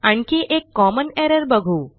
आणखी एक common error बघू